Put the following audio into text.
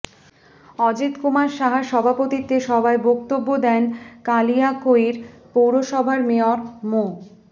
অজিত কুমার সাহার সভাপতিত্বে সভায় বক্তব্য দেন কালিয়াকৈর পৌরসভার মেয়র মো